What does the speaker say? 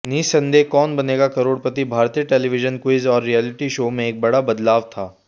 निःसंदेह कौन बनेगा करोड़पति भारतीय television quiz और reality show में एक बड़ा बदलाव था